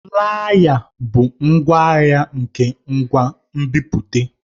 Flaya bụ ngwaahịa nke ngwa nbipute.